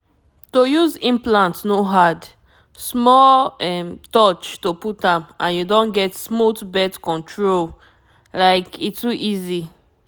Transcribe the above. to use implant no hard — small um touch to put m and you don get smooth birth control like e too easy.